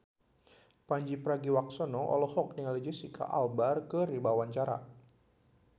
Pandji Pragiwaksono olohok ningali Jesicca Alba keur diwawancara